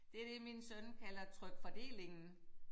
Det det min søn kalder trykfordelingen